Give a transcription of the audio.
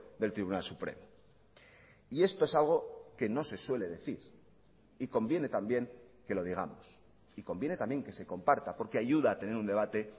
del tribunal supremo y esto es algo que no se suele decir y conviene también que lo digamos y conviene también que se comparta porque ayuda a tener un debate